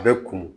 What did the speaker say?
A bɛ kunun